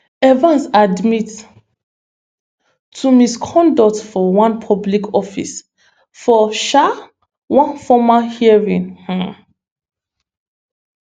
evans admit to misconduct for one public office for um one former hearing um